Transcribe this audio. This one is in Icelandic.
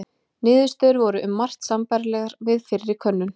niðurstöður voru um margt sambærilegar við fyrri könnun